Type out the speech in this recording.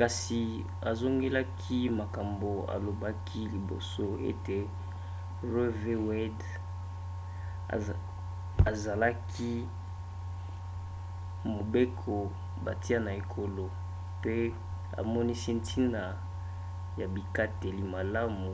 kasi azongelaki makambo alobaki liboso ete roe v. wade ezalaki mobeko batia na ekolo pe amonisi ntina ya bikateli malamu